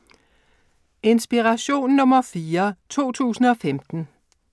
Inspiration nr. 4 2015